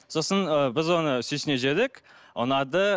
сосын ы біз оны сүйсіне жедік ұнады